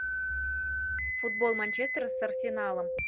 футбол манчестер с арсеналом